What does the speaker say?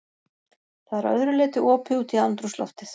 Það er að öðru leyti opið út í andrúmsloftið.